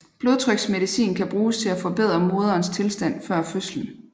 Blodtryksmedicin kan bruges til at forbedre moderens tilstand før fødslen